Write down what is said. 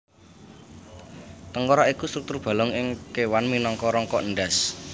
Tengkorak iku struktur balung ing kéwan minangka rangka endhas